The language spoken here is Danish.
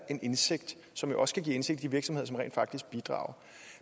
en indsigt som jo også kan give indsigt i virksomheder som rent faktisk bidrager